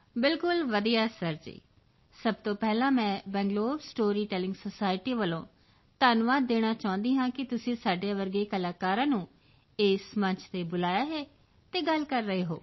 ਬਿਲਕੁਲ ਵਧੀਆ ਸਰ ਜੀ ਸਭ ਤੋਂ ਪਹਿਲਾਂ ਮੈਂ ਬੈਂਗਲੋਰ ਸਟੋਰੀ ਟੈਲਿੰਗ ਸੋਸਾਇਟੀ ਵੱਲੋਂ ਧੰਨਵਾਦ ਦੇਣਾ ਚਾਹੁੰਦੀ ਹਾਂ ਕਿ ਤੁਸੀਂ ਸਾਡੇ ਜਿਹੇ ਕਲਾਕਾਰਾਂ ਨੂੰ ਇਸ ਮੰਚ ਤੇ ਬੁਲਾਇਆ ਹੈ ਅਤੇ ਗੱਲ ਕਰ ਰਹੇ ਹੋ